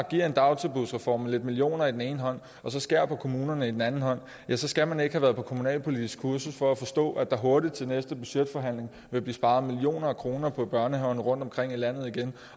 giver en dagtilbudsreform lidt millioner med den ene hånd og skærer på kommunerne med den anden hånd så skal man ikke have været på kommunalpolitisk kursus for at forstå at der hurtigt til næste budgetforhandling vil blive sparet millioner af kroner på børnehaverne rundtomkring i landet igen